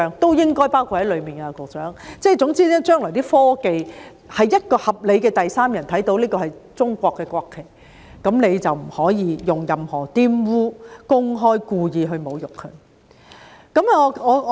總而言之，就將來的科技，凡是一個合理的第三人看到這是中國的國旗，任何人就不可以公開及故意玷污它或以任何方式侮辱它。